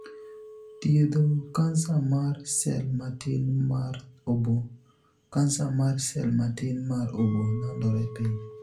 Thiedho kansa mar sel matin mar oboo. Kansa mar sel matin mar oboo landore piyo.